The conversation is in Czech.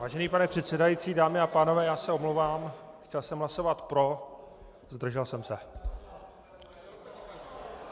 Vážený pane předsedající, dámy a pánové, já se omlouvám, chtěl jsem hlasovat pro, zdržel jsem se.